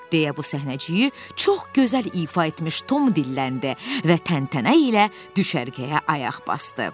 deyə bu səhnəciyi çox gözəl ifadə etmiş Tom dilləndi və təntənə ilə düşərgəyə ayaq basdı.